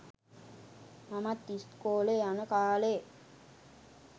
මමත් ඉස්කෝලෙ යන කාලේ